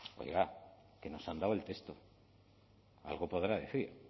oiga que nos han dado el texto algo podrá decir